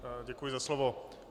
Děkuji za slovo.